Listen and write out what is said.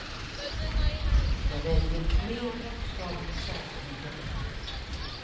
Jag väljer tre bokstavligen sagolika böcker.